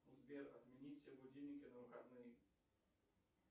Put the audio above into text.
сбер отменить все будильники на выходные